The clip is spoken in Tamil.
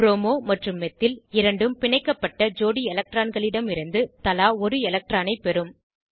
ப்ரோமோ மற்றும் மெத்தில் இரண்டும் பிணைக்கப்பட்ட ஜோடி எலக்ட்ரான்களிடமிருந்து தலா ஒரு எலக்ட்ரானைப் பெறும்